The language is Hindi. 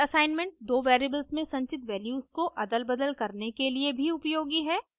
parallel assignment दो वेरिएबल्स में संचित वैल्यूज को अदलबदल करने के लिए भी उपयोगी है